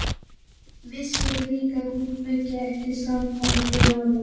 Vissi líka að hún fengi ekki samband við hana.